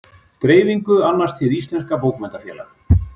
Dreifingu annast Hið íslenska bókmenntafélag.